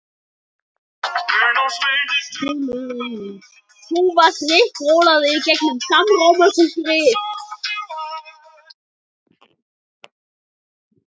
Valdimar fann kaldan svitadropa leka niður holhöndina.